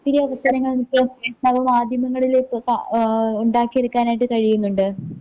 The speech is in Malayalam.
ത്തിരി അവസരങ്ങൾ മാധ്യമങ്ങളില് ഏഹ് ഇണ്ടാക്കി എടുക്കാനായിട്ട് കഴിയുന്നുണ്ട്.